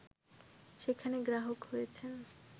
সেখানে গ্রাহক হয়েছেন